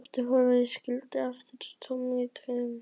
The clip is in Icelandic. Skipið var horfið og skildi eftir kynlegt tóm í tilverunni.